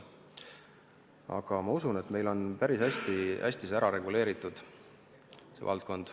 Ent ma usun, et meil on see valdkond päris hästi reguleeritud.